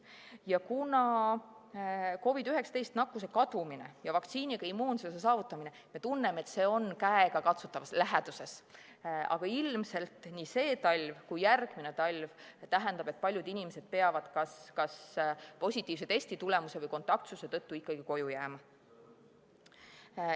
Ja kuigi meile tundub, et COVID-19 nakkuse kadumine ja vaktsiiniga immuunsuse saavutamine on käegakatsutavas läheduses, peavad ilmselt nii sel kui ka järgmisel talvel paljud inimesed kas positiivse testitulemuse või kontaktsuse tõttu ikkagi koju jääma.